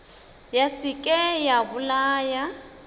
ya se ke ya bolaya